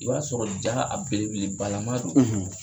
I b'a sɔrɔ jaa a belebeleba laman don